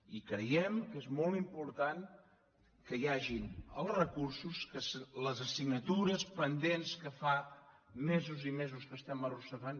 i creiem que és molt important que hi hagin els recursos que les assignatures pendents que fa mesos i mesos que estem arrossegant